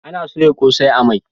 Ana soya kosai a mai